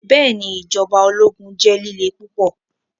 Bẹẹni, ijọba ologun jẹ lile pupọ